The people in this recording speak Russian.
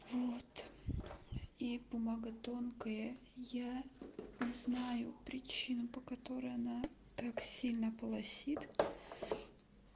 вот и бумага тонкая я не знаю причину по которой она так сильно полосит